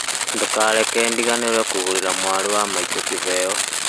ndũkareke ndiganĩrwo kũgũrĩra mwarĩ wa maitũ kĩheo